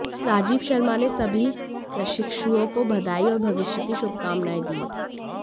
राजीव शर्मा ने सभी प्रशिक्षुओं को बधाई और भविष्य की शुभकामनाएं दी